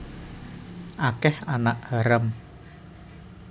Akeh anak haram